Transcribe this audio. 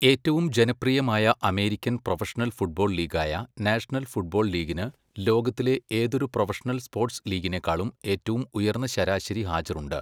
ഏറ്റവും ജനപ്രിയമായ American professional football ലീഗായ നാഷണൽ ഫുട്ബോൾ ലീഗിന് ലോകത്തിലെ ഏതൊരു പ്രൊഫഷണൽ സ്പോർട്സ് ലീഗിനേക്കാളും ഏറ്റവും ഉയർന്ന ശരാശരി ഹാജർ ഉണ്ട്.